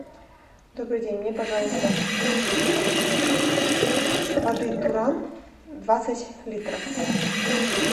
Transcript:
добрый день мне пожалуйста воды туран двадцать литров